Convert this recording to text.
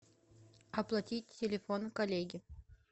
оплатить телефон коллеги